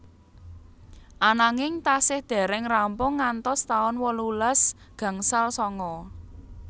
Ananging tasih dereng rampung ngantos taun wolulas gangsal sanga